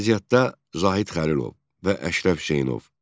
Riyaziyyatda Zahid Xəlilov və Əşrəf Hüseynov.